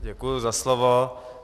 Děkuji za slovo.